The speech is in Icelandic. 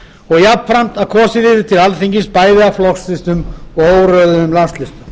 og jafnframt að kosið yrði til alþingis bæði af flokkslistum og óröðuðum landslista